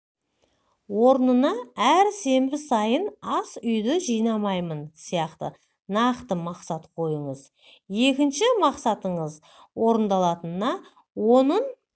орнына әр сенбі сайын ас үйді жинаймын сияқты нақты мақсат қойыңыз екінші мақсатыңыздың орындалатынына оның